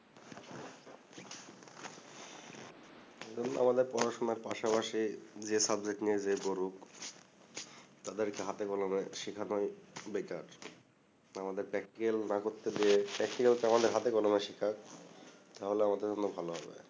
এ জন্য আমাদের পড়াশোনার পাশাপাশি যে নিয়ে যে পড়ুক তাদেরকে হাতে কলমে শিখাটাই বেকার আমাদের না করতে গেলে তো আমাদের হাতে কলমে শিখাক তাহলে আমাদের জন্য ভাল হবে